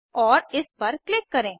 और इस पर क्लिक करें